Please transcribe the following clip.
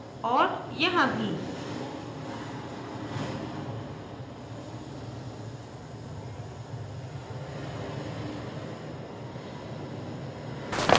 और यहाँ भी